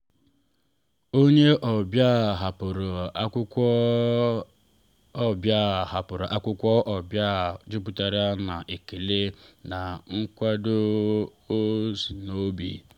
onye ọbịa hapụrụ akwụkwọ ọbịa hapụrụ akwụkwọ n’azụ jupụtara na ekele na nkwado si n’obi.